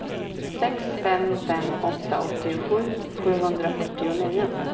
sex fem fem åtta åttiosju sjuhundrafyrtionio